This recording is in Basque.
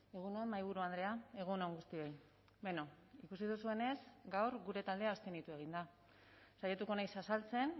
egun on mahaiburu andrea egun on guztioi beno ikusi duzuenez gaur gure taldea abstenitu egin da saiatuko naiz azaltzen